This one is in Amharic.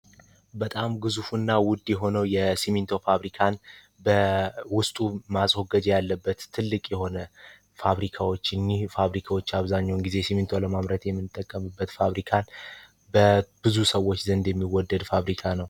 በጣም ግዙፉና ዉድ የሆነዉ የስሚቶ ፋብሪካን በዉስጡ ማስዎገጃ ያለበት ትልቅ የሆነ ፋብሪካዎች እነዚህ ፋብሪካዎች